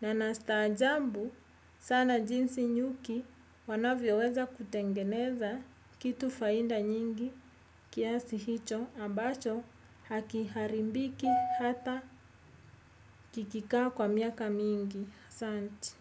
Na na staajabu sana jinsi nyuki wanavyo weza kutengeneza kitu faida nyingi kiasi hicho ambacho haki haribiki hata kikikaa kwa miaka mingi. Asanti.